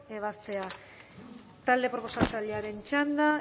ebazpena talde proposatzailearen txanda